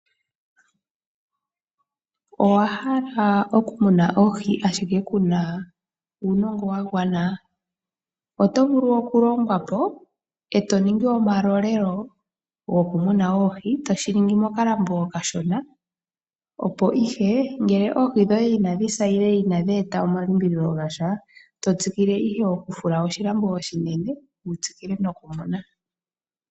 Owa hala okumuna oohi ashike ku na uunongo wa gwana? Oto vulu okulongwapo e to ningi omalolelo gokumuna oohi toshi ningi mokalambo okashona opo ngele oohi dhoye ina dhi sa nenge ina dhi eta omalimbililo gasha to tsikile owala okufula oshilambo oshinene wu tsikile nokumuna.